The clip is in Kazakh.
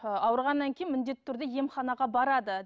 ыыы ауырғаннан кейін міндетті түрде емханаға барады